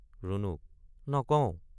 ৰুণুক—নকওঁ।